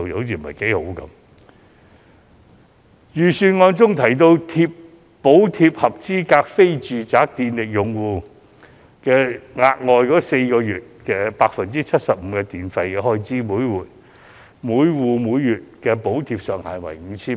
預算案建議，補貼合資格的非住宅電力用戶額外4個月每月 75% 電費開支，每戶每月的補貼上限為 5,000 元。